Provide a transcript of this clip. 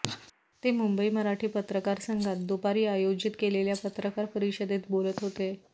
ते मुंबई मराठी पत्रकार संघात दुपारी आयोजित केलेल्या पत्रकार परिषदेत बोलत होते